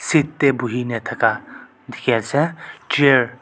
seat te buhi ne thaka dikhi ase chair .